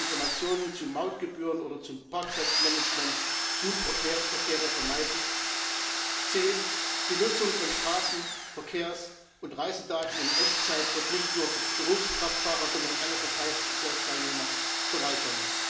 werden Informationen zu Mautgebühren oder zum Parkplatzmanagement Suchverkehr vermeiden, c die Nutzung von Straßen Verkehrs und Reisedaten in Echtzeit wird nicht nur Berufskraftfahrer, sondern alle Verkehrsteilnehmer bereichern.